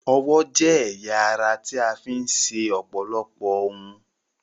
Ọwọ́ jẹ́ ẹ̀ya ara tí a fi ń ṣe ọ̀pọ̀lọpọ̀ ohun.